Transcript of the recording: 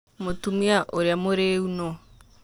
Mũtumia ũrĩa mũrĩu nũ?